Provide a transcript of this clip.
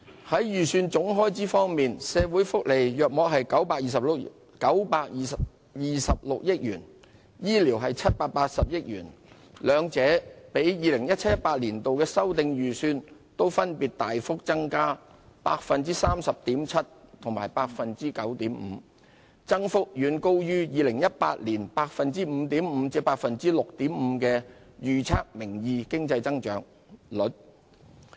在預算總開支方面，社會福利約佔926億元，醫療則佔780億元，兩者分別都比 2017-2018 年度的修訂預算大幅增加 30.7% 及 9.5%， 增幅遠高於2018年 5.5% 至 6.5% 的名義經濟增長預測。